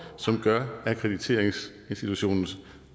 som gør akkrediteringsinstitutionens